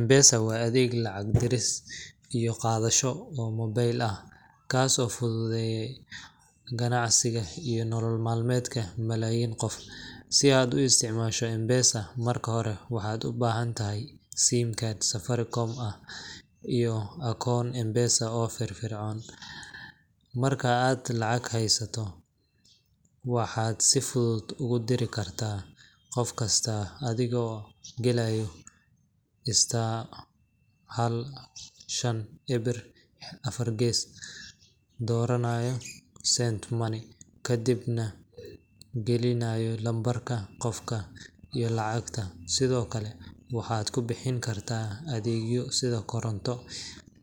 M-Pesa waa adeeg lacag diris iyo qaadasho oo mobile ah, kaas oo fududeeya ganacsiga iyo nolol maalmeedka malaayiin qof. Si aad u isticmaasho M-Pesa, marka hore waxaad ubaahantahay sim card Safaricom ah iyo akoon M-Pesa oo firfircoon. Marka aad lacag haysato, waxaad si fudud ugu diri kartaa qof kasta adigoo galaya star hal shan ewer afar gees, dooranaya Send Money, kadibna gelinaya lambarka qofka iyo lacagta. Sidoo kale, waxaad ku bixin kartaa adeegyo sida koronto,